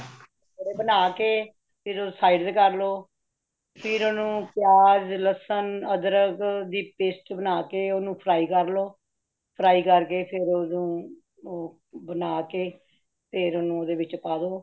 ਬਣਾ ਕੇ ਫੇਰ ਉਹ side ਤੇ ਕਰ ਲੋ , ਫੇਰ ਓਨੁ ਪਿਆਜ਼, ਲਹਸੁਨ, ਅਦਰਕ, ਦੀ paste ਬਨਾ ਕੇ ਓਨੂੰ fry ਕਰ ਲੋ ,fry ਕਰਕੇ ਫੇਰ ਓਨੁ ਬਣਾਕੇ ਫੇਰ ਓਨੁ ਉਦ੍ਹੇ ਵਿਚ ਪਾਦੋ